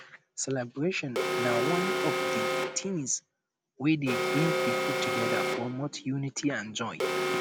celebrations na one of di tings wey dey bring people together promote unity and joy